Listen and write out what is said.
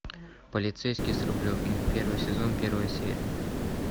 полицейский с рублевки первый сезон первая серия